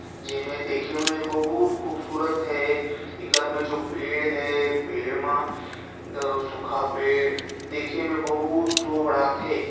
जेमे देखे में बहुत खूबसूरत है एकर में जो पेड़ है पेड़ मा दओ सूखा पेड़ देखे में बहुत शो बड़ाथे ।